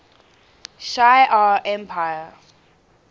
shi ar empire